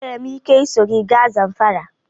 Enwere m ike iso gị gaa Zamfara?